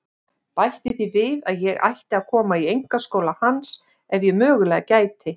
Bætti því við að ég ætti að koma í einkaskóla hans ef ég mögulega gæti.